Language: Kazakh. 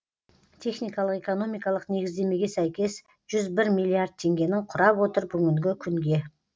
техникалық экономикалық негіздемеге сәйкес жүз бір миллиард теңгенінің құрап отыр бүгінгі күнге